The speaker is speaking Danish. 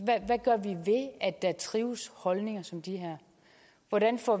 at der trives holdninger som de her hvordan får